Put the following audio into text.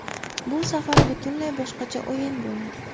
Bu safar butunlay boshqacha o‘yin bo‘ladi”.